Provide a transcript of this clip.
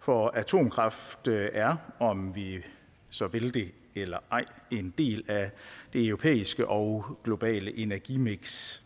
for atomkraft er om vi så vil det eller ej en del af det europæiske og globale energimiks